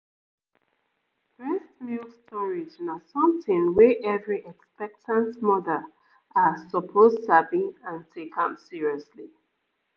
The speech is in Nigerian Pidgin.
breast milk storage na something wey every expectant mother ah suppose sabi and take am seriously